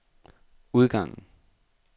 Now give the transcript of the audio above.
udgangen